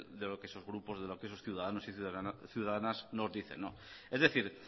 de lo que esos grupos de los que esos ciudadanos y ciudadanas nos dicen es decir